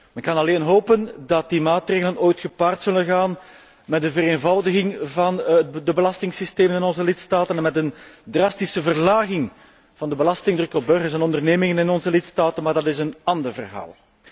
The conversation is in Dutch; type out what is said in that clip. Men kan alleen hopen dat die maatregelen ooit gepaard zullen gaan met een vereenvoudiging van de belastingsystemen in onze lidstaten en met een drastische verlaging van de belastingdruk op burgers en ondernemingen in onze lidstaten, maar dat is een ander verhaal.